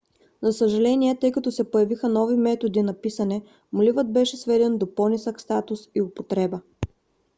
за съжаление тъй като се появиха нови методи на писане моливът беше сведен до по - нисък статус и употреба